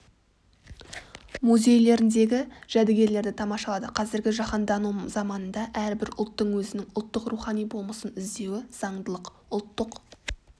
музейлеріндегі жәдігерлерді тамашалады қазіргі жаһандану заманында әрбір ұлттың өзінің ұлттық рухани болмысын іздеуі заңдылық ұлттық